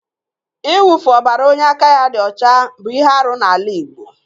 Ịwụfu ọbara onye aka ya dị ọcha bụ ihe arụ n'ala Igbo.